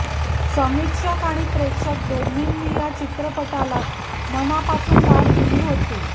समीक्षक आणि प्रेक्षक दोन्हींनी या चित्रपटाला मनापासून दाद दिली होती